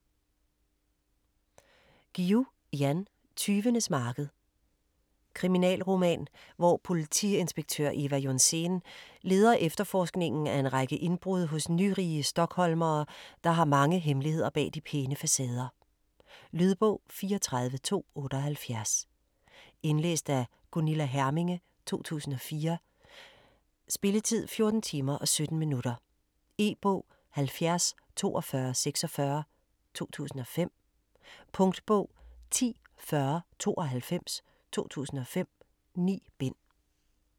Guillou, Jan: Tyvenes marked Kriminalroman, hvor politiinspektør Ewa Johnsén leder efterforskningen af en række indbrud hos nyrige stockholmere, der har mange hemmeligheder bag de pæne facader. Lydbog 34278 Indlæst af Gunilla Herminge, 2004. Spilletid: 14 timer, 17 minutter. E-bog 704246 2005. Punktbog 104092 2005. 9 bind.